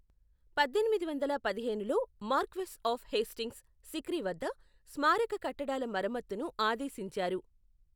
పద్దెనిమిది వందల పదిహేనులో మార్క్వెస్ ఆఫ్ హేస్టింగ్స్ సిక్రీ వద్ద స్మారక కట్టడాల మరమ్మత్తును ఆదేశించారు.